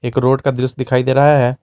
एक रोड का दृश्य दिखाई दे रहा है।